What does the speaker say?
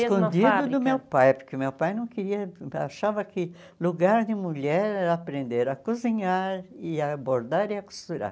mesma fábrica? Escondida do meu pai, porque o meu pai não queria achava que lugar de mulher era aprender a cozinhar, e a bordar e a costurar.